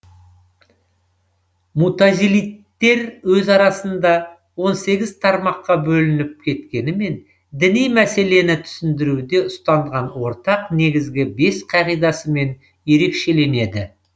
мутазилиттер өз арасында он сегіз тармаққа бөлініп кеткенімен діни мәселені түсіндіруде ұстанған ортақ негізгі бес қағидасымен ерекшеленеді